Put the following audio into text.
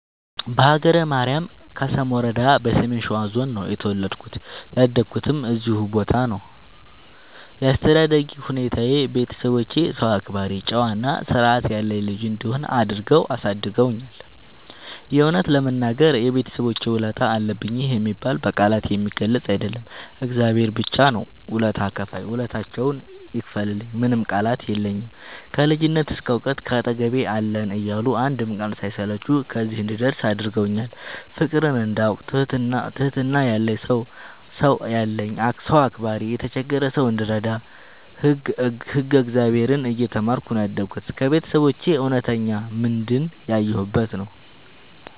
በሀገረ ማርያም ከሰም ወረዳ በሰሜን ሸዋ ዞን ነው የተወለድኩት ያደኩትም እዚሁ ቦታ ነው። ያስተዳደግ ሁኔታዬ ቤተሰቦቼ ሰው አክባሪ ጨዋ እና ስርዐት ያለኝ ልጅ እንድሆን አድርገው አሳድገውኛል። የእውነት ለመናገር የቤተሰቦቼ ውለታ አለብኝ ይህ የሚባል በቃላት የሚገለፅ አይደለም እግዚአብሔር ብቻ ነው ውለታ ከፍይ ውለታቸውን ይክፈልልኝ ምንም ቃላት የለኝም። ከልጅነት እስከ ዕውቀት ካጠገቤ አለን እያሉ አንድም ቀን ሳይሰለቹ ከዚህ እንድደርስ አድርገውኛል። ፍቅርን እንዳውቅ ትህትና ያለኝ ሰው አክባሪ የተቸገረ ሰው እንድረዳ ህግ እግዚአብሔርን እየተማርኩ ነው ያደግሁት ከቤተሰቦቼ እውነተኛ ምንድን ያየሁበት ነው።